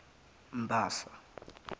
mbasa